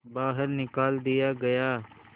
बाहर निकाल दिया गया